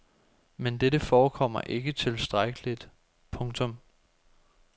Men dette forekommer ikke tilstrækkeligt. punktum